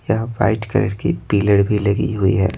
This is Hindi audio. यह वाइट कलर की पिलर भी लगी हुई है।